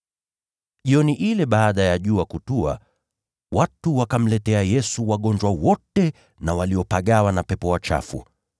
Jioni ile baada ya jua kutua, watu wakamletea Yesu wagonjwa wote na waliopagawa na pepo wachafu.